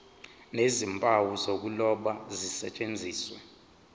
nezimpawu zokuloba zisetshenziswe